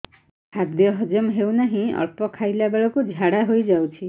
ଖାଦ୍ୟ ହଜମ ହେଉ ନାହିଁ ଅଳ୍ପ ଖାଇଲା ବେଳକୁ ଝାଡ଼ା ହୋଇଯାଉଛି